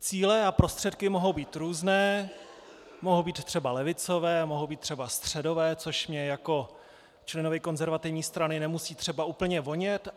Cíle a prostředky mohou být různé, mohou být třeba levicové, mohou být třeba středové, což mně jako členovi konzervativní strany nemusí třeba úplně vonět.